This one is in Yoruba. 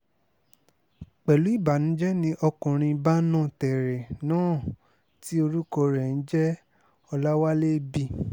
pẹ̀lú ìbànújẹ́ ni ọkùnrin bánọ̀tẹ̀rẹ̀ náà tí orúkọ rẹ̀ ń jẹ́ ọ̀làwálé b